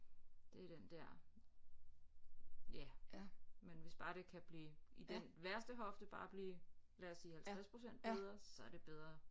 Det er den der ja men hvis bare det kan blive i den værste hofte bare blive lad os sige 50% bedre så er det bedre